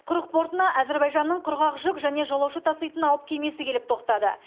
құрық портына әзербайжанның құрғақ жүк және жолаушы таситын алып кемесі келіп тоқтады